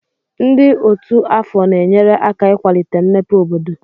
Ndị otu afọ na-enyere aka ịkwalite mmepe obodo.